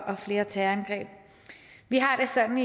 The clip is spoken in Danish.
og flere terrorangreb vi har det sådan